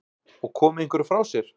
Og komið einhverju frá sér?